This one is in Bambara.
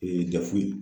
dɛfu